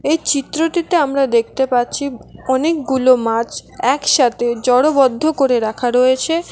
এই চিত্রটিতে আমরা দেখতে পাচ্ছি অনেকগুলো মাছ একসাথে জড়বদ্ধ করে রাখা রয়েছে।